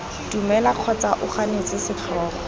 dumela kgotsa o ganetse setlhogo